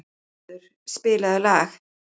Þórður, spilaðu lag.